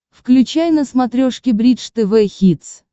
включай на смотрешке бридж тв хитс